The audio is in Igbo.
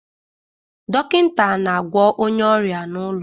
Dọkịta na-agwọ onye ọrịa n'ụlọ